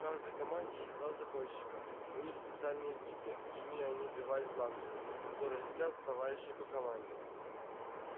в каждой команде есть два загонщика у них специальные биты ими они отбивают бланжеры которые летят в товарищей по команде